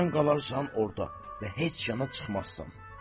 Sən qalarsan orda və heç yana çıxmazsan.